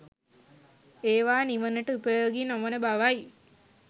ඒවා නිවනට උපයෝගී නොවන බවයි.